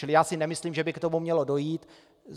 Čili já si nemyslím, že by k tomu mělo dojít.